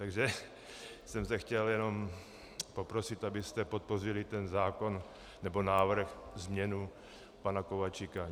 Takže jsem se chtěl jenom poprosit, abyste podpořili ten zákon nebo návrh, změnu pana Kováčika.